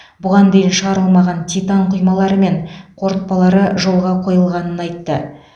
бұған дейін шығарылмаған титан құймалары мен қорытпалары жолғ қойылғанын айтты